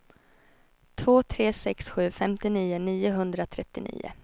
två tre sex sju femtionio niohundratrettionio